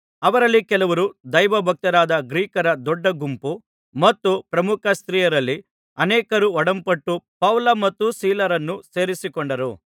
ಅವರಲ್ಲಿ ಕೆಲವರೂ ದೈವಭಕ್ತರಾದ ಗ್ರೀಕರ ದೊಡ್ಡ ಗುಂಪು ಮತ್ತು ಪ್ರಮುಖ ಸ್ತ್ರೀಯರಲ್ಲಿ ಅನೇಕರೂ ಒಡಂಬಟ್ಟು ಪೌಲ ಮತ್ತು ಸೀಲರನ್ನು ಸೇರಿಕೊಂಡರು